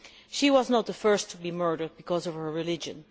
She was not the first to be murdered because of her religion.